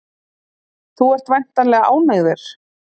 Þú ert væntanlega ánægður?